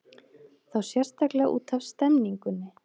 Þá sérstaklega útaf stemningunni.